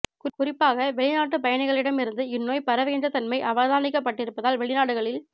குறிப்பாக வெளிநாட்டு பயணிகளிடம் இருந்து இந்நோய் பரவுகின்ற தன்மை அவதானிக்கபட்டிருப்பதால் வெளிநாடுகளில்